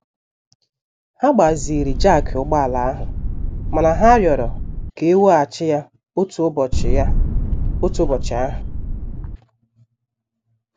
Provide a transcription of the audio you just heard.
Ha gbaziri jakị ụgbọ ala ahụ mana ha rịọrọ ka e weghachi ya otu ụbọchị ya otu ụbọchị ahụ.